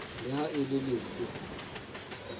le ha e le lefe